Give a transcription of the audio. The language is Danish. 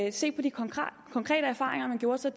at se på de konkrete erfaringer man gjorde sig